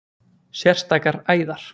sérstakar æðar